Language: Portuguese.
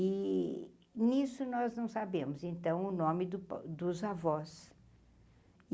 E nisso nós não sabemos, então, o nome po dos avós.